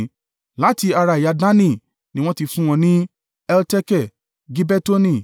Láti ara ẹ̀yà Dani ni wọ́n ti fún wọn ní: Elteke, Gibetoni,